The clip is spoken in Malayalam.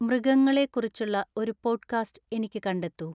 മൃഗങ്ങളെക്കുറിച്ചുള്ള ഒരു പോഡ്കാസ്റ്റ് എനിക്ക് കണ്ടെത്തൂ